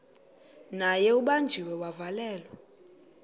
naye ubanjiwe wavalelwa